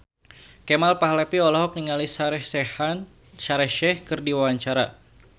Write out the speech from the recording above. Kemal Palevi olohok ningali Shaheer Sheikh keur diwawancara